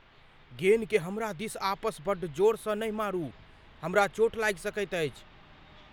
गेन के हमरा दिस आपस बड्ड जोरसँ नहि मारू। हमरा चोट लागि सकैत अछि।